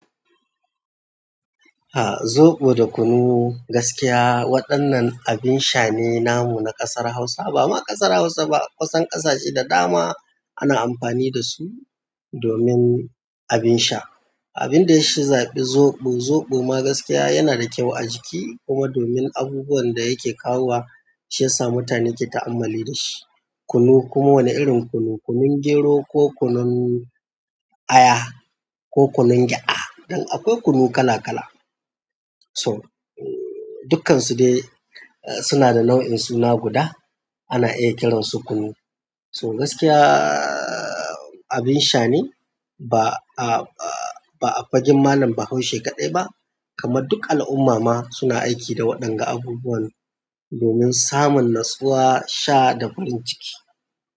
Ahh, zobo da kunu gaskiya waɗannan abin sha ne namu na ƙasar Hausa, bama ƙasar Hausa ba kusan ƙasashe da dama ana amfani dasu domin abin sha. Abin da yashafi zobo, zobo ma gaskiya yana da kyau a jiki kuma domin abubuwan da yake kawo wa shi yasa mutane ke ta'ammali da shi. Kunu kuma wani irin kunu, kunun gero ko kunun aya ko kunun gyada. Don akwai kunu kala-kala so, dukkansu dai suna da nau'in suna guda ana iya kiran su kunu. So gaskiyaaa abin sha ne ba a, a, a, ba a fagen malam bahaushe kaɗai ba kamar duk al'umma ma suna aiki da waɗanga abubuwan domin samun natsuwa, sha da farin ciki.